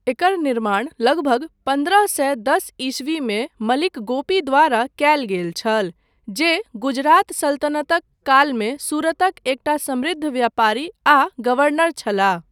एकर निर्माण लगभग पन्द्रह सए दस ईस्वीमे मलिक गोपी द्वारा कयल गेल छल, जे गुजरात सल्तनतक कालमे सूरतक एकटा समृद्ध व्यापारी आ गवर्नर छलाह।